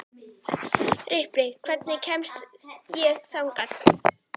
Ripley, hvernig kemst ég þangað?